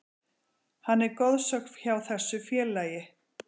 Hann er goðsögn hjá þessu félagi.